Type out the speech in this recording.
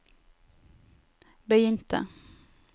begynte